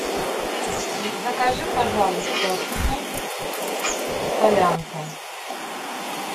закажи пожалуйста суп солянка